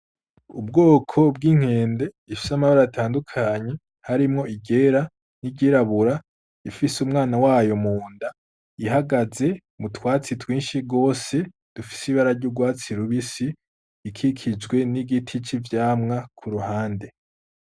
Ubwoko bw'inkende ifise amabara atandukanye harimwo iryera, n'iry'irabura, ifise umwana wayo mu nda ihagaze mu twatsi twinshi gose dufise ibara ry'ugwatsi rubisi ikikijwe n'igiti c'ivyamwa ku ruhande.